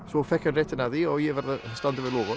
svo fékk hann réttinn að því og ég varð að standa við loforð